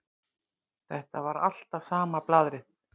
Þetta var alltaf sama blaðrið.